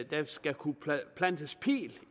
der skal kunne plantes pil